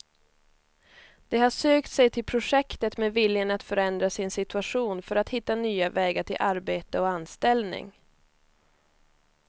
De har sökt sig till projektet med viljan att förändra sin situation för att hitta nya vägar till arbete och anställning.